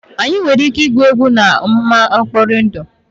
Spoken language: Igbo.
Anyị nwere ike igwu egwu n'ama nkpọri ndụ?